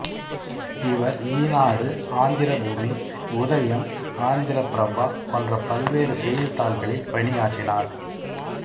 இவர் ஈனாடு ஆந்திர பூமி உதயம் ஆந்திர பிரபா போன்ற பல்வேறு செய்தித்தாள்களில் பணியாற்றினார்